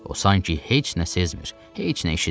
O sanki heç nə sezmir, heç nə eşitmir.